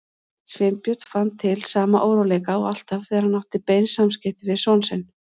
Sveinbjörn fann til sama óróleika og alltaf þegar hann átti bein samskipti við son sinn.